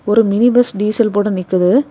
ஒரு mini bus diesel போட நிக்குது.